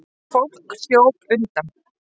Fólk hljóp undan.